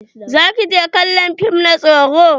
Za ki je kallon fim na tsoro?